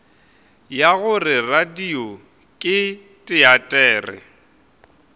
ya gore radio ke teatere